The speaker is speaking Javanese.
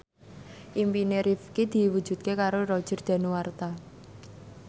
impine Rifqi diwujudke karo Roger Danuarta